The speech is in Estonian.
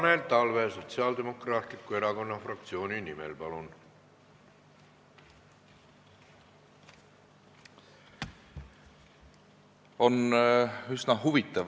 Tanel Talve Sotsiaaldemokraatliku Erakonna fraktsiooni nimel, palun!